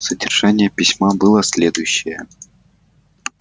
содержание письма было следующее